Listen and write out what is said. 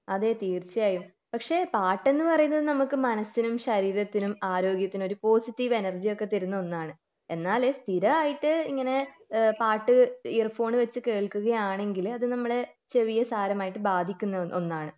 അതെ തീർച്ചയായും പക്ഷെ പാട്ടെന്ന് പറയുന്നത് നമുക്ക് മനസിനും ശരീരത്തിനും ആരോഗ്യത്തിനും ഒരു പോസിറ്റീവ് എനർജി ഒക്കെ തരുന്ന ഒരു ഒന്നാണ് എന്നാൽ സ്ഥിരായിട്ട് ഇങ്ങനെ പാട്ട് ഇയർഫോൺ വെച്ച് കേൾകുകയാണെങ്കില് അത് നമ്മളെ ചെവിയെ സാരമായിട്ട് ബാധിക്കുന്ന ഒന്നാണ്